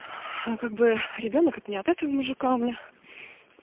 а как бы ребёнок не от этого мужика у меня